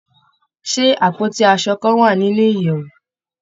Ṣé àpótí aṣo kan wà nínú ìyèwù?